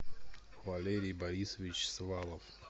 валерий борисович свалов